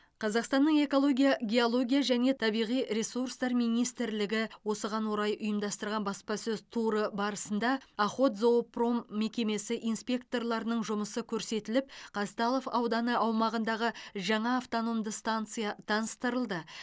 қазақстанның экология геология және табиғи ресурстар министрлігі осыған орай ұйымдастырған баспасөз туры барысында охотзоопром мекемесі инспекторларының жұмысы көрсетіліп қазталов ауданы аумағындағы жаңа автономды станция таныстырылды